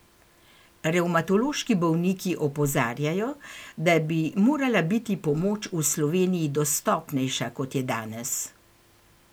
Revmatološki bolniki opozarjajo, da bi morala biti pomoč v Sloveniji dostopnejša, kot je danes.